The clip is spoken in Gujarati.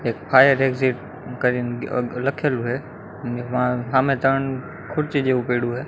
એક ફાયર એક્ઝીટ કરીને લખેલુ હૈ એમા હામે ત્રણ ખુરચી જેવુ પૈડુ હૈ.